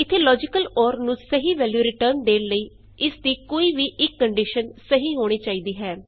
ਇਥੇ logical or ਨੂੰ ਸਹੀ ਵੈਲਯੂ ਰਿਟਰਨ ਦੇਣ ਲਈ ਇਸ ਦੀ ਕੋਈ ਵੀ ਇਕ ਕੰਡੀਸ਼ਨ ਸਹੀ ਹੋਣੀ ਚਾਹੀਦੀ ਹੈ